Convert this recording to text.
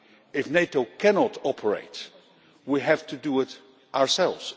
If NATO cannot operate, we have to do it ourselves.